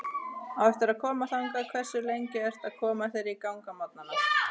Á eftir að koma þangað Hversu lengi ertu að koma þér í gang á morgnanna?